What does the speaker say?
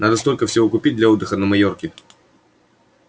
надо столько всего купить для отдыха на майорке